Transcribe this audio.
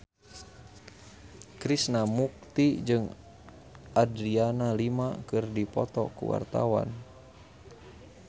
Krishna Mukti jeung Adriana Lima keur dipoto ku wartawan